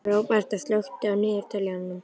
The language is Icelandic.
Róberta, slökktu á niðurteljaranum.